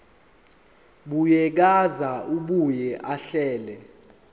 buyekeza abuye ahlele